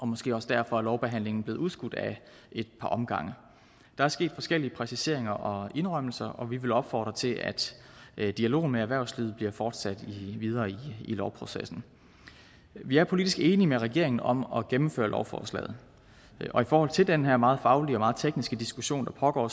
måske også derfor at lovbehandlingen er blevet udskudt ad et par omgange der er sket forskellige præciseringer og indrømmelser og vi vil opfordre til at dialogen med erhvervslivet bliver fortsat i den videre lovproces vi er politisk enig med regeringen om at gennemføre lovforslaget og i forhold til den her meget faglige og meget tekniske diskussion der pågår